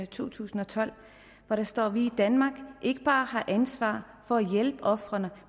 to tusind og tolv hvor der står at vi i danmark ikke bare har ansvar for at hjælpe ofrene